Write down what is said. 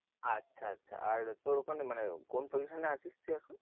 আচ্ছা আচ্ছা আর তোর ওখানে মানে কোন position এ আছিস তুই এখন?